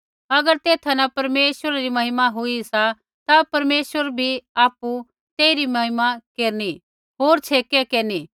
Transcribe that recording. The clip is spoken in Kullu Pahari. अगर तेथा न परमेश्वरै री महिमा हुई सा ता परमेशवर भी आपु न तेइरी महिमा केरनी होर छेकै केरनी